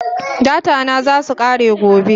Data na zasu kare gobe